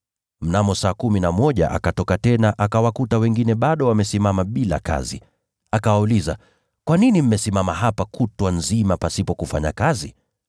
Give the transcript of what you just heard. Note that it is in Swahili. Mnamo saa kumi na moja akatoka tena akawakuta wengine bado wamesimama bila kazi. Akawauliza, ‘Kwa nini mmesimama hapa kutwa nzima pasipo kufanya kazi?’